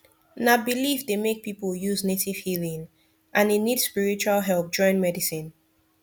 na belief dey make people use native healing and e need spiritual help join medicine